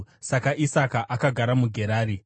Saka Isaka akagara muGerari.